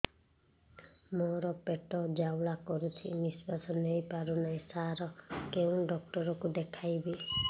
ମୋର ପେଟ ଜ୍ୱାଳା କରୁଛି ନିଶ୍ୱାସ ନେଇ ପାରୁନାହିଁ ସାର କେଉଁ ଡକ୍ଟର କୁ ଦେଖାଇବି